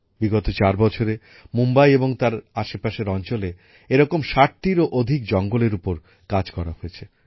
বিগত চার বছরে মুম্বাই এবং তার আশেপাশের অঞ্চলে এরকম ষাটটিরও অধিক জঙ্গলের উপর কাজ করা হয়েছে